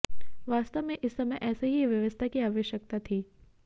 वास्तव में इस समय ऐसी ही व्यवस्था की आवश्यकता थी